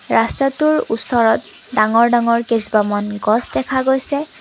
ৰস্তাটোৰ ওচৰত ডাঙৰ ডাঙৰ কেইজোপামান গছ দেখা গৈছে।